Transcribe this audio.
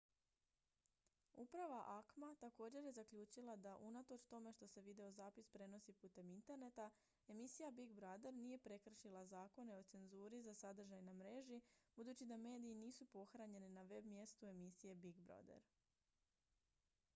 uprava acma također je zaključila da unatoč tome što se videozapis prenosi putem interneta emisija big brother nije prekršila zakone o cenzuri za sadržaj na mreži budući da mediji nisu pohranjeni na web-mjestu emisije big brother